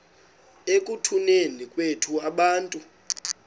ekutuneni kwethu abantu